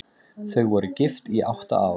Þau voru gift í átta ár.